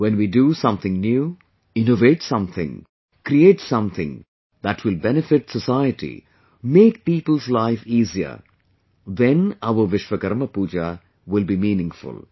When we do something new, innovate something, create something that will benefit the society, make people's life easier, then our Vishwakarma Puja will be meaningful